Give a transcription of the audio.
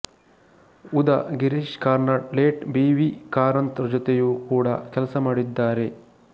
ಉದಾ Girish Karnad late B V Karanth ಜೊತೆಯು ಕೂಡ ಕೆಲಸ ಮಾಡಿದ್ದಾರೆ